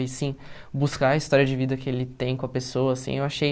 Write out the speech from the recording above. E sim, buscar a história de vida que ele tem com a pessoa, assim, eu achei...